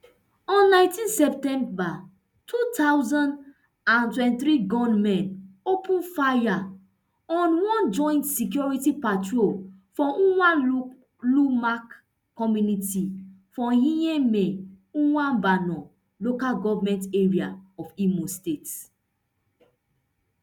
on nineteen september two thousand and twenty-three gunmen open fire on one joint security patrol for umualumak community for ehime mbano local goment area of imo state